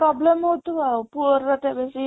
Problem ହଉଥିବ ଆଉ ପୁଅ ର ତେବେ ସେଇ